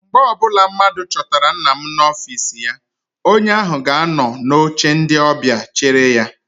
Mgbe ọbụla mmadụ chọtara nna m n'ọfịịsi ya, onye ahụ ga anọ n'oche ndị ọbịa chere ya.